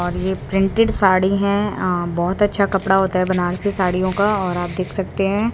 और ये प्रिंटेड साड़ी है अं बहोत अच्छा कपड़ा होता है बनारसी साड़ियों का और आप देख सकते हैं।